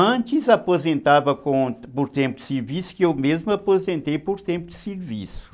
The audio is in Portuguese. Antes, aposentava por tempo de serviço, que eu mesmo aposentei por tempo de serviço.